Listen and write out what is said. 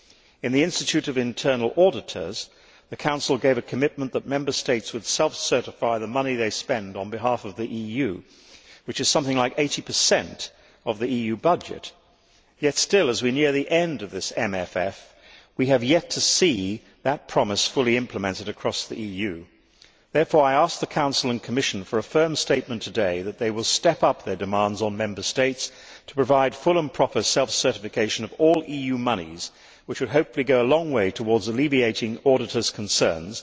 In the Institute of Internal Auditors, the Council gave a commitment that Member States would self certify the money they spend on behalf of the EU, which is something like 80 of the EU budget yet, as we near the end of this MFF, we have still to see that promise fully implemented across the EU. Therefore, I ask the Council and Commission for a firm statement today that they will step up their demands on Member States to provide full and proper self certification of all EU monies, which hopefully would go a long way towards alleviating auditors' concerns.